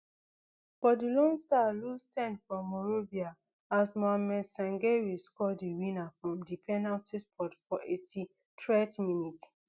but di lone star lose ten for morovia as mohammed sangare score di winner from di penalty spot for eighty-threed minute